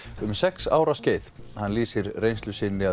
um sex ára skeið hann lýsir reynslu sinni